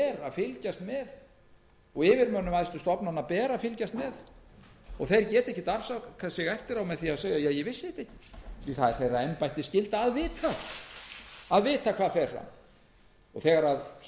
fylgjast með og yfirmönnum æðstu stofnana ber að fylgjast með og þeir geta ekkert afsakað sig eftir á með því að segja ja ég vissi þetta ekki það er embættisskylda þeirra að vita hvað fer fram þegar